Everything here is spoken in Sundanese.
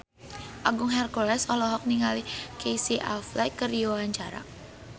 Agung Hercules olohok ningali Casey Affleck keur diwawancara